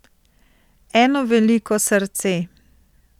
Eno veliko srce.